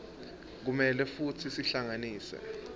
kumele futsi sihlanganise